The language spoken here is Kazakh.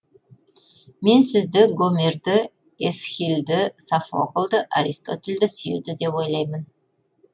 мен сізді гомерді эсхильді софокльді аристотельді сүйеді деп ойлаймын